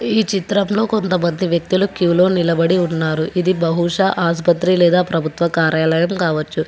ఈ చిత్రంలో కొంతమంది వ్యక్తులు క్యూలో నిలబడి ఉన్నారు ఇది బహుశా ఆస్పత్రి లేదా ప్రభుత్వ కార్యాలయం కావచ్చు.